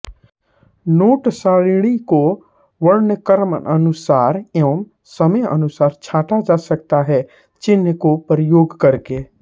note सारिणी को वर्णक्रमानुसार एवं समयानुसार छँटा जा सकता है चिह्न को प्रयोग करके